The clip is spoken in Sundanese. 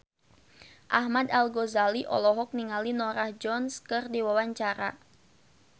Ahmad Al-Ghazali olohok ningali Norah Jones keur diwawancara